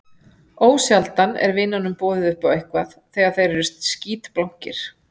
Ósjaldan er vinunum boðið upp á eitthvað þegar þeir eru skítblankir.